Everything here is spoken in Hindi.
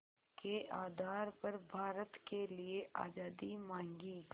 के आधार पर भारत के लिए आज़ादी मांगी